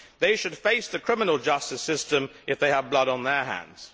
They should face the criminal justice system if they have blood on their hands.